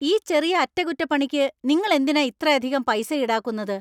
ഈ ചെറിയ അറ്റകുറ്റപ്പണിക്കു നിങ്ങൾ എന്തിനാ ഇത്രയധികം പൈസ ഈടാക്കുന്നത്?